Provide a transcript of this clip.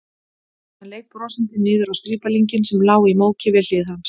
Hann leit brosandi niður á strípalinginn sem lá í móki við hlið hans.